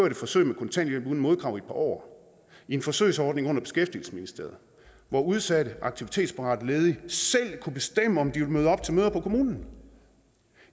et forsøg med kontanthjælp uden modkrav i år i en forsøgsordning under beskæftigelsesministeriet hvor udsatte aktivitetsparate ledige selv kunne bestemme om de ville møde op til møder på kommunen